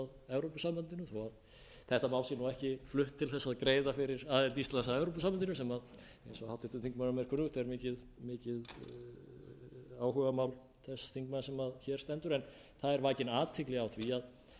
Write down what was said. evrópusambandinu þó þetta mál sé ekki flutt til að greiða fyrir aðild íslands að evrópusambandinu eins og er mikið áhugamál þess þingmanns sem hér stendur en það er vakin athygli á því